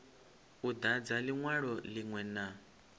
u dadza linwalo linwe na